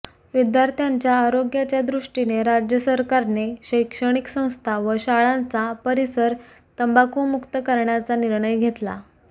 विद्यार्थ्यांच्या आरोग्याच्या दृष्टीने राज्य सरकारने शैक्षणिक संस्था व शाळांचा परिसर तंबाखूमुक्त करण्याचा निर्णय घेतला